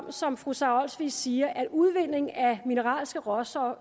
er som fru sara olsvig siger at udvindingen af mineralske råstoffer